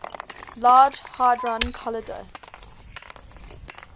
large hadron collider